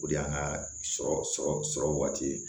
O de y'an ka sɔrɔ sɔrɔ sɔrɔ waati ye